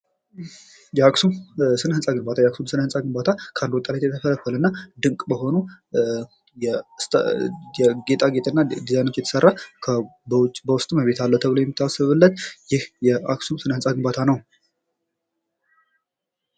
የአክሱም ስነ ህንፃ ግንባታ የአክሱም ስነ ህንፃ ግንባታ ከአንድ ወጣት የተፈረፈ እና ድንቅ መሆኑን ጌጣጌጥና ዲዛይኖች የተሰራ በውስጥም እቤት አለው ተብሎ የሚታሰብ ይህ የአክሱም ስነ ህንፃ ግንባታ ነው ።